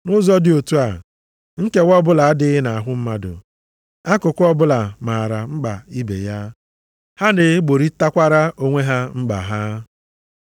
Nʼụzọ dị otu a, nkewa ọbụla adịghị nʼahụ mmadụ. Akụkụ ọbụla maara mkpa ibe ya, ha na-egborịtakwara onwe ha mkpa ha.